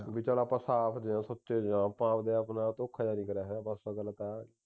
ਬਈ ਚਲ ਆਪਾਂ ਸਾਫ ਜਹਿਆਂ ਸੁੱਚੇ ਜਹਿਆਂ ਆਪਾਂ ਆਪਣੇ ਆਪ ਦੇ ਨਾਲ ਐ ਧੋਖਾ ਜੇਹਾ ਨਹੀਂ ਕਰਿਆ ਹੋਇਆ ਬਸ ਗੱਲ ਤੇ ਇਹ ਹੈ